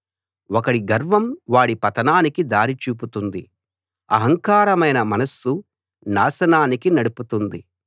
ఒకడి గర్వం వాడి పతనానికి దారి చూపుతుంది అహంకారమైన మనస్సు నాశనానికి నడుపుతుంది